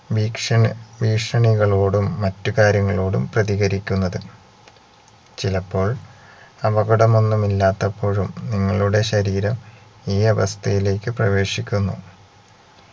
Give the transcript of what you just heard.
ഭീക്ഷണി ഭീഷണികളോടും മറ്റുകാര്യങ്ങളോടും പ്രതികരിക്കുന്നത് ചിലപ്പോൾ അപകടമൊന്നും ഇല്ലാത്തപ്പോഴും നിങ്ങളുടെ ശരീരം ഈ അവസ്ഥയിലേക്ക് പ്രവേശിക്കുന്നു